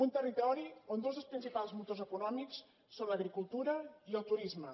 un territori on dos dels principals motors econòmics són l’agricultura i el turisme